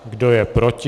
Kdo je proti?